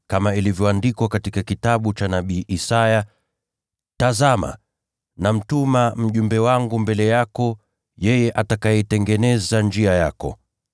Kama ilivyoandikwa katika kitabu cha nabii Isaya: “Tazama, nitamtuma mjumbe wangu mbele yako, atakayetengeneza njia mbele yako”: